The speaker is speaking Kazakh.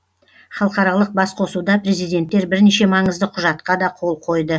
халықаралық басқосуда президенттер бірнеше маңызды құжатқа да қол қойды